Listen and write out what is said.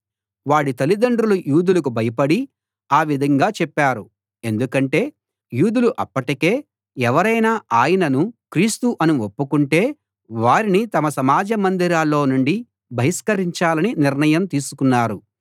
వాడి తల్లిదండ్రులు యూదులకు భయపడి ఆ విధంగా చెప్పారు ఎందుకంటే యూదులు అప్పటికే ఎవరైనా ఆయనను క్రీస్తు అని ఒప్పుకుంటే వారిని తమ సమాజ మందిరాల్లో నుండి బహిష్కరించాలని నిర్ణయం తీసుకున్నారు